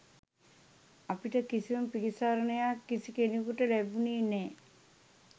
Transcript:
අපිට කිසිම පිළිසරණයක් කිසි කෙනකුට ලැබුණේ නෑ.